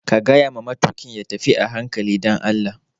Ka gayawa matuƙin ya tafi a hankali dan Allah!